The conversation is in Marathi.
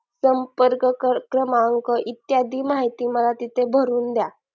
संपर्क क्रमांक इत्यादी माहिती मला तिथे भरून द्या